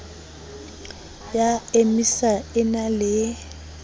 ya emia e na le